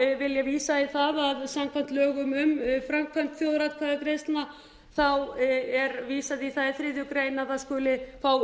vil ég vísa í það að samkvæmt lögum um framkvæmd þjóðaratkvæðagreiðslna er vísað í það í þriðju grein að það skuli fá